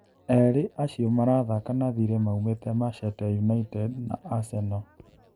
Erĩ acio marathaka na thirĩ maumĩte Machete United na Aseno.